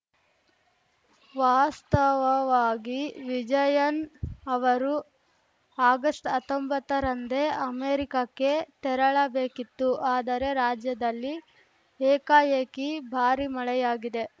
ವಾಸ್ತವವಾಗಿ ವಿಜಯನ್‌ ಅವರು ಆಗಸ್ಟ್ಹತ್ತೊಂಬತ್ತರಂದೇ ಅಮೆರಿಕಕ್ಕೆ ತೆರಳಬೇಕಿತ್ತು ಆದರೆ ರಾಜ್ಯದಲ್ಲಿ ಏಕಾಏಕಿ ಭಾರೀ ಮಳೆಯಾಗಿದೆ